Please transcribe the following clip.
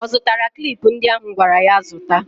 Ọ zụtara klip ndị ahụ m gwara ya zụta?